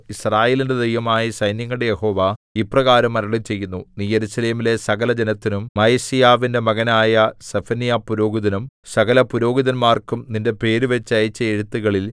യിസ്രായേലിന്റെ ദൈവമായ സൈന്യങ്ങളുടെ യഹോവ ഇപ്രകാരം അരുളിച്ചെയ്യുന്നു നീ യെരൂശലേമിലെ സകലജനത്തിനും മയസേയാവിന്റെ മകനായ സെഫന്യാപുരോഹിതനും സകലപുരോഹിതന്മാർക്കും നിന്റെ പേരുവച്ച് അയച്ച എഴുത്തുകളിൽ